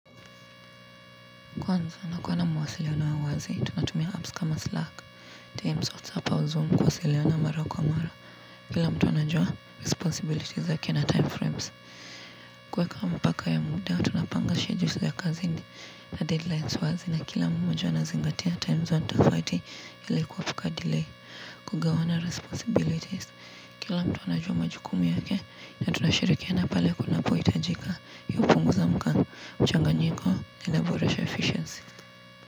Kwanza nakuwa na mawasiliano ya uwazi, tunatumia apps kama Slack, Teams, WhatsApp au Zoom kuwasiliana mara kwa mara. Kila mtu anajua responsibilities zake na time frames. Kweka mpaka ya muda, tunapangashe jusi ya kazi ndi na deadlines wazi na kila mtu wana zingatia time zone tafati yile kuwafika delay. Kugawana responsibilities, kila mtu ana jua majukumu yake na tunashirikiana pale kunapo hitajika yupunguza mkangu. Mchanganyiko linaboresha efficiency.